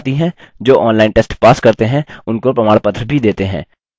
जो online test pass करते हैं उनको प्रमाणपत्र भी देते हैं